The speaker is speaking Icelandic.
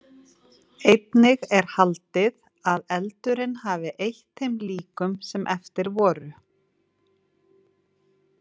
Einnig er haldið að eldurinn hafi eytt þeim líkum sem eftir voru.